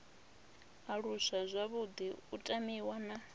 aluswa zwavhuḓi u tamiwa na